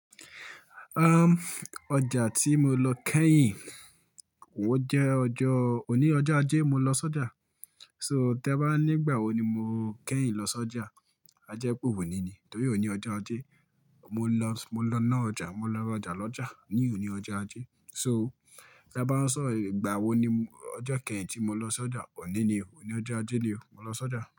Ọjà tí mo lọ kẹ́yìn, ó jẹ́ ọjọ́, òní ọjọ́ ajé mo lọ sójà. So, tẹ́ bá nígbà wo ni mo kẹ́yìn lọ sójà? A jẹ́ pe onini ni, torí òníni ọjọ́ ajé. Mo lọ, mo lọ ná ọjà, mo lọ rajà lọ́jà ní òní ọjọ́ ajé. So, tí a bá sọ ìgbà wo ni ọjọ́ kẹ́yìn tí mo lọ sójà, òní ni o, òní ọjọ́ ajé ni o, mo lọ sójà.